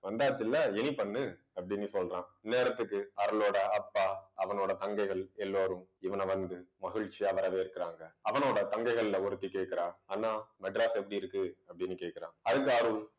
வந்தாச்சுல்ல இனி பண்ணு, அப்படின்னு சொல்றான். இந்நேரத்துக்கு அருளோட அப்பா அவனோட தங்கைகள் எல்லாரும் இவனை வந்து மகிழ்ச்சி வரவேற்கிறாங்க. அவனோட தங்கைகள்ல ஒருத்தி கேக்குறா அண்ணா மெட்ராஸ் எப்படி இருக்கு அப்பிடின்னு கேக்குறா. அதுக்கு அருள்